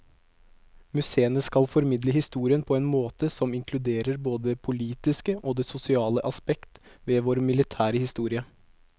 Museene skal formidle historien på en måte som inkluderer både det politiske og det sosiale aspekt ved vår militære historie.